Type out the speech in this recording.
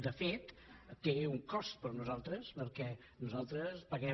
de fet té un cost per a nosaltres perquè nosaltres paguem